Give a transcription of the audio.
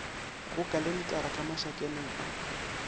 go kalentara ka mašakaneng a